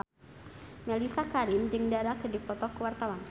Mellisa Karim jeung Dara keur dipoto ku wartawan